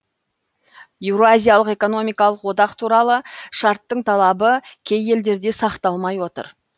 еуразиялық экономикалық одақ туралы шарттың талабы кей елдерде сақталмай отыр